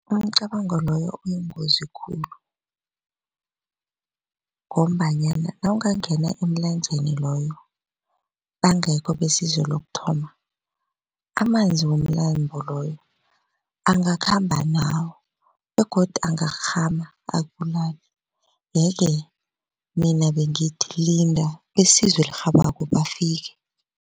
Umcabango loyo uyingozi khulu ngombanyana nawungangena emlanjeni loyo bangekho besizo lokuthoma amanzi womlambo loyo angakhamba nawe begodu angakghama akubulale yeke mina bengithi linda besizo elirhabako bafike.